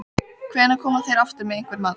Hvenær koma þeir aftur með einhvern mat?